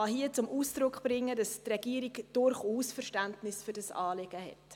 Ich kann zum Ausdruck bringen, dass die Regierung durchaus Verständnis für dieses Anliegen hat.